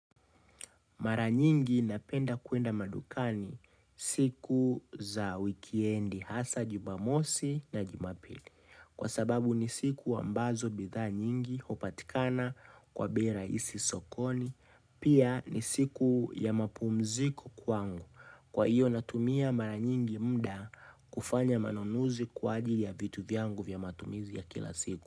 Mara nyingi napenda kuenda madukani siku za wikendi hasa jumamosi na jumapili. Kwa sababu ni siku ambazo bidhaa nyingi hupatikana kwa bei rahisi sokoni. Pia ni siku ya mapumziko kwangu. Kwa iyo natumia mara nyingi mda kufanya manunuzi kwa ajili ya vitu vyangu vya matumizi ya kila siku.